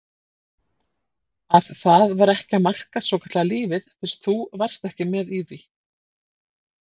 Að það var ekki að marka svokallaða lífið fyrst þú varst ekki með í því.